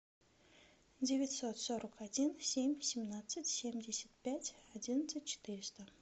девятьсот сорок один семь семнадцать семьдесят пять одиннадцать четыреста